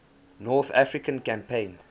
north african campaign